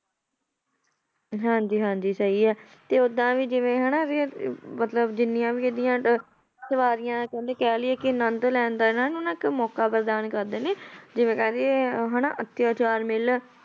ਹਾਂਜੀ ਹਾਂਜੀ ਸਹੀ ਹੈ, ਤੇ ਓਦਾਂ ਵੀ ਜਿਵੇਂ ਹਨਾ ਵੀ ਮਤਲਬ ਜਿੰਨੀਆਂ ਵੀ ਇਹਦੀਆਂ ਅਹ ਸਵਾਰੀਆਂ ਕਹਿੰਦੇ ਕਹਿ ਲਈਏ ਕਿ ਆਨੰਦ ਲੈਣ ਦਾ ਇਹਨਾਂ ਨੂੰ ਨਾ ਇੱਕ ਮੌਕਾ ਪ੍ਰਦਾਨ ਕਰਦੇ ਨੇ, ਜਿਵੇਂ ਕਹਿ ਦੇਈਏ ਹਨਾ ਅਤਿਆਚਾਰ ਮਿਲ